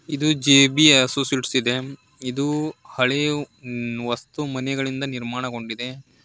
ಇದು J B associates ಇದೆ ಇದು ಹಳೆಯ ಮ್ಮ್ ವಸ್ತು ಮನೆಗಳಿಂದ ನಿರ್ಮಾಣಗೊಂಡಿದೆ.